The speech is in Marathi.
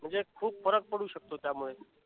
म्हणजे खूप फरक पडू शकतो त्यामुळे